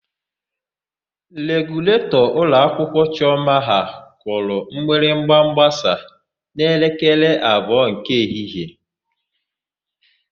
Reguletọ ụlọakwụkwọ Chiọma ha kụrụ mgbịrịgba mgbasa n'elekere abụọ nke ehihie.